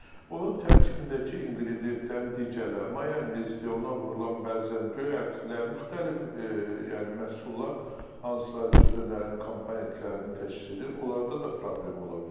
Onun tərkibindəki inqrediyentlərin digərləri, mayonezdir, ona vurulan bəzən göy ətlər, müxtəlif, yəni məhsullar, hansılar ki, dönərin komponentlərini təşkil edir, onlarda da problem ola bilər.